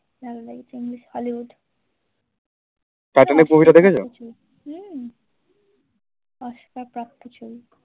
Oscar প্রাপ্ত ছবি।